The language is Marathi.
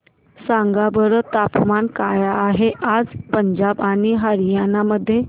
सांगा बरं तापमान काय आहे आज पंजाब आणि हरयाणा मध्ये